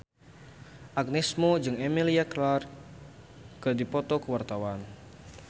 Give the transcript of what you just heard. Agnes Mo jeung Emilia Clarke keur dipoto ku wartawan